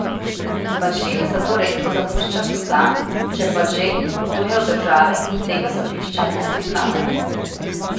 Bašir zato redko zapušča Sudan, če pa že, potuje v države, ki tega sodišča ne priznavajo.